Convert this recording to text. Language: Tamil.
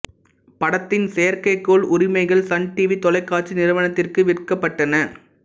படத்தின் செயற்கைக்கோள் உரிமைகள் சன் டிவி தொலைக்காட்சி நிறுவனத்திற்கு விற்கப்பட்டன